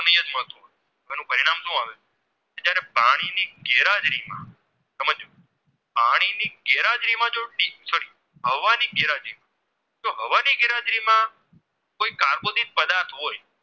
પાણી ની ગેરહાજરીમાં sorry હવા ની ગેરહાજરી માં જો હવા ની ગેરહાજરી માં કોઈ કાર્બોદિત પદાર્થ હોય